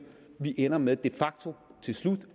vi ender med de facto til slut